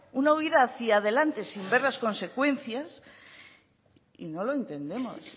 una huída hacia delante sin ver las consecuencias no lo entendemos